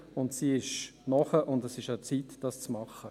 Dieser ist reif, und es ist an der Zeit, dies zu tun.